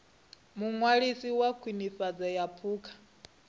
muṅwalisi wa khwinifhadzo ya phukha